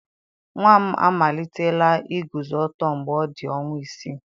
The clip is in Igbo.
Nwa m amalitela iguzo ọtọ mgbe ọ dị ọnwa isii.